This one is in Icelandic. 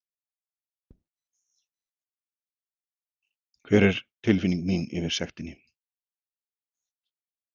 Hver er tilfinning mín yfir sektinni?